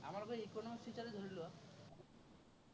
আমাৰ সেই economics teacher য়েই ধৰি লোৱা।